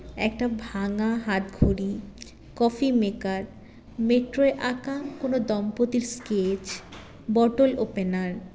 একটা ভাঙা হাতঘড়ি কফি maker metro - এ আঁকা কোনো দম্পতির sketch bottle opener